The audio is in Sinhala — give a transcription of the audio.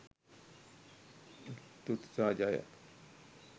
තුති සහ ජය!